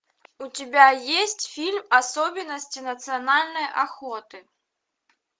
у тебя есть фильм особенности национальной охоты